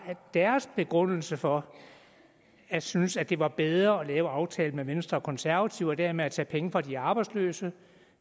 deres begrundelse for at synes at det var bedre at lave aftalen med venstre og konservative og dermed tage penge fra de arbejdsløse